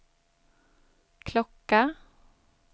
klocka